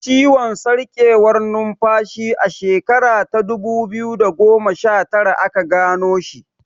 Ciwon sarkewar numfashi a shekara ta dubu biyu da goma shatara aka gano shi.